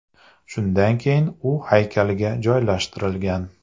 Shundan keyin u haykalga joylashtirilgan.